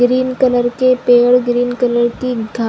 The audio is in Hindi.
ग्रीन कलर के पेड़ ग्रीन कलर की घाँस--